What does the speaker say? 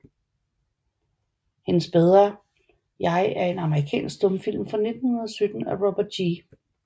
Hendes bedre Jeg er en amerikansk stumfilm fra 1917 af Robert G